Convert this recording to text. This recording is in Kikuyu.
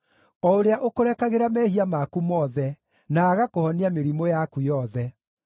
o ũrĩa ũkũrekagĩra mehia maku mothe, na agakũhonia mĩrimũ yaku yothe,